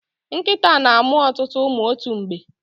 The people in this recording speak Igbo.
Nkịta na-amụ ọtụtụ ụmụ otu mgbe.